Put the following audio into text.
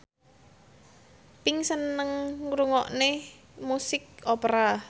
Pink seneng ngrungokne musik opera